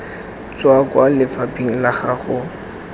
tswa kwa lefapheng la gago